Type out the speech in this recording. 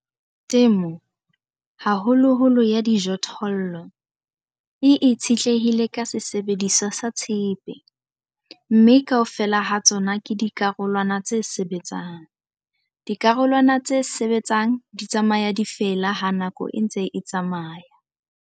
Temo, haholoholo ya dijothollo, e itshetlehile ka sesebediswa sa tshepe, mme kaofela ha tsona ke dikarolwana tse sebetsang. Dikarolwana tse sebetsang di tsamaya di a fela ha nako e ntse e tsamaya.